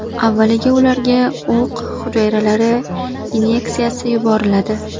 Avvaliga ularga o‘q hujayralari inyeksiyasi yuboriladi.